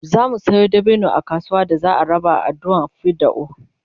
zamu Sayo dabino a kasuwa da za'a raba a adduan fidda'u